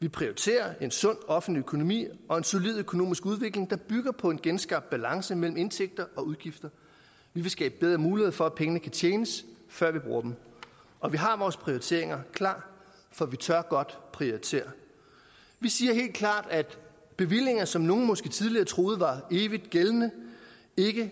vi prioriterer en sund offentlig økonomi og en solid økonomisk udvikling der bygger på en genskabt balance mellem indtægter og udgifter vi vil skabe bedre muligheder for at pengene kan tjenes før vi bruger dem og vi har vores prioriteringer klar for vi tør godt prioritere vi siger helt klart at bevillinger som nogle måske tidligere troede var evigt gældende ikke